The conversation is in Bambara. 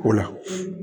O la